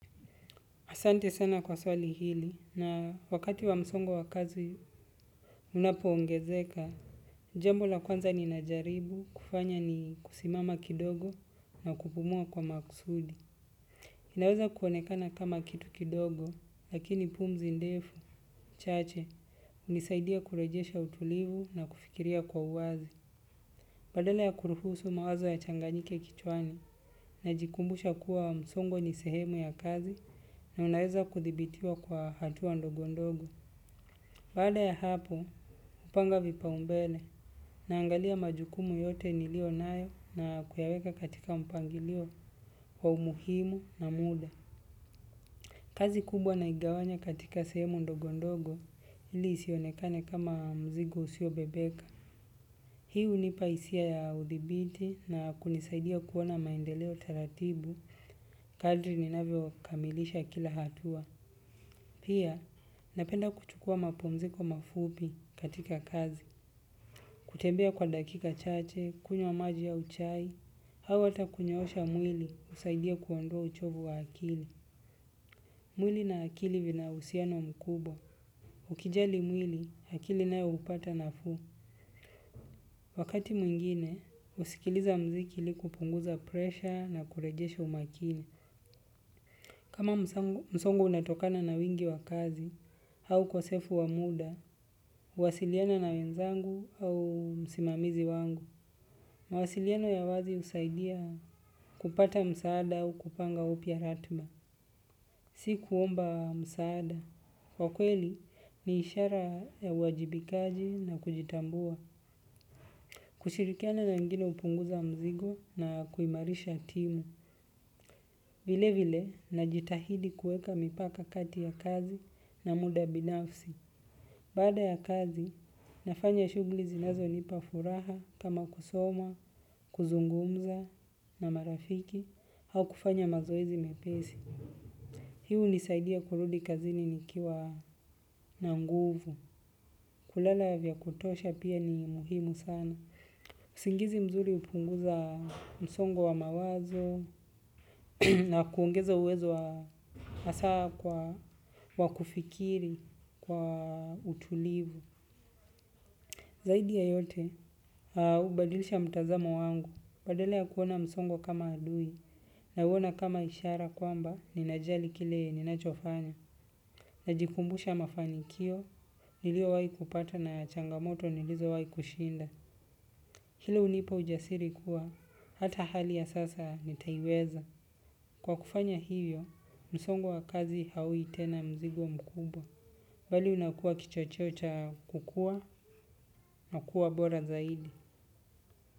Asante sana kwa swali hili na wakati wa msongo wa kazi unapo ongezeka. Jembo la kwanza ni najaribu kufanya ni kusimama kidogo na kupumua kwa maksudi. Inaweza kuonekana kama kitu kidogo lakini pumzi ndefu, chache, unisaidia kurejesha utulivu na kufikiria kwa uazi. Badala ya kuruhusu mawazo ya changanyike kichwani na jikumbusha kuwa msongo ni sehemu ya kazi na unaweza kuthibitiwa kwa hatua ndogondogo. Baada ya hapo, upanga vipaumbele na angalia majukumu yote nilio nayo na kuyaweka katika mpangilio wa umuhimu na muda. Kazi kubwa naigawanya katika sehemu ndogondogo ili isionekane kama mzigo usio bebeka. Hii hunipaisia ya udhibiti na kunisaidia kuona maendeleo taratibu, kadri ninavyo kamilisha kila hatua. Pia, napenda kuchukua mapumziko mafupi katika kazi. Kutembea kwa dakika chache, kunywa maji au chai, hawa ata kunyosha mwili usaidia kuondoa uchovu wa akili. Mwili na akili vina usiano mkubwa. Ukijali mwili akili nayo hupata nafuu. Wakati mwingine, usikiliza mziki li kupunguza presha na kurejesha umakini. Kama msongo unatokana na wingi wa kazi, hau ukosefu wa muda, uwasiliana na wenzangu au msimamizi wangu. Mawasiliano ya wazi usaidia kupata msaada au kupanga upya ratma. Si kuomba msaada. Kwa kweli, ni ishara ya uwajibikaji na kujitambua. Kushirikiana na wengine hupunguza mzigo na kuimarisha timu. Vile vile najitahidi kueka mipaka kati ya kazi na muda binafsi. Baada ya kazi nafanya shuguli zinazonipa furaha kusoma kuzungumza na marafiku au kufanya mazoezi mepesi. Hi unisaidia kurudi kazini nikiwa na nguvu. Kulala ya vya kutosha pia ni muhimu sana. Singizi mzuri upunguza msongo wa mawazo. Na kuongeza uwezo asaa wa kufikiri, kwa utulivu zaidi ya yote, ubadilisha mtazamo wangu. Badala ya kuona msongo kama adui. Na uona kama ishara kwamba, ninajali kile ninachofanya. Najikumbusha mafanikio, nilio wai kupata na changamoto nilizo wai kushinda. Hilo unipa ujasiri kuwa, hata hali ya sasa nitaiweza. Kwa kufanya hivyo, msongo wa kazi haui tena mzigo mkubwa. Bali unakua kicho chocha kukua na kuwa bora zaidi.